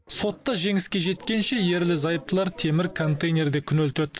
сотта жеңіске жеткенше ерлі зайыптылар темір контейнерде күнелтеді